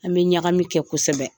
An bi ɲagami kɛ kosɛbɛ.